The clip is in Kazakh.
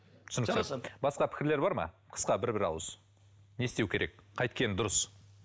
түсінікті басқа пікірлер бар ма қысқа бір бір ауыз не істеу керек қайткен дұрыс